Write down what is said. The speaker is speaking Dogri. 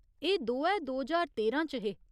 एह् दोऐ दो ज्हार तेरां च हे।